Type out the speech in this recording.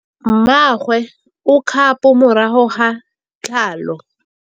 Mmagwe o kgapô morago ga tlhalô.